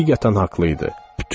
Həqiqətən haqlı idi.